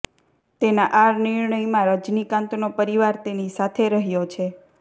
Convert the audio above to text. તેના આ નિર્ણયમાં રજનીકાંતનો પરિવાર તેની સાથે રહ્યો છે